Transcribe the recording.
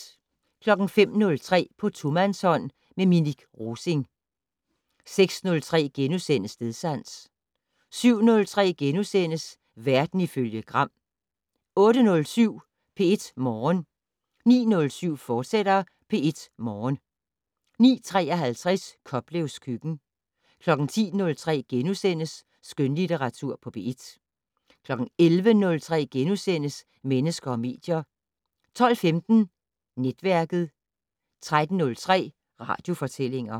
05:03: På tomandshånd med Minik Rosing 06:03: Stedsans * 07:03: Verden ifølge Gram * 08:07: P1 Morgen 09:07: P1 Morgen, fortsat 09:53: Koplevs køkken 10:03: Skønlitteratur på P1 * 11:03: Mennesker og medier * 12:15: Netværket 13:03: Radiofortællinger